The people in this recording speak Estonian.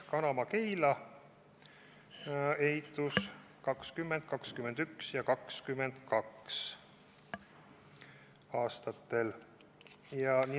Kanama–Keila ehitus on planeeritud aastatesse 2020–2022.